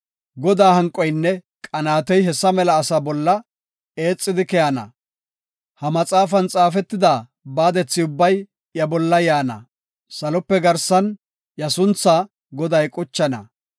Godaa hanqoynne qanaatey hessa mela ase bolla eexidi keyana. Ha maxaafan xaafetida baadethi ubbay iya bolla yaana; salope garsan iya suntha Goday quchana.